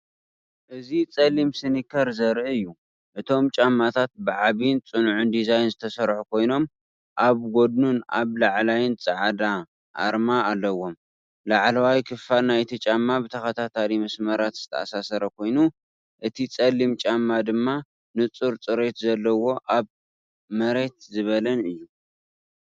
እዚ ጸሊም ስኒከር ዘርኢ እዩ። እቶም ጫማታት ብዓቢን ጽኑዕን ዲዛይን ዝተሰርሑ ኮይኖም፡ኣብ ጎድኑን ኣብ ላዕሊን ጻዕዳ ኣርማ ኣለዎም። ላዕለዋይ ክፋል ናይቲ ጫማ ብተኸታታሊ መስመራት ዝተኣሳሰረ ኮይኑ፡ እቲ ጸሊም ጫማ ድማ ንጹር ጽሬት ዘለዎ ኣብ መሬትዝበለን እዩ።